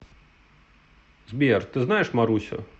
сбер ты знаешь марусю